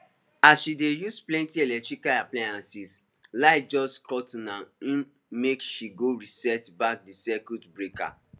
as she dey use plenty eletrical appliances light just cutna im make she go reset back the circuit breaker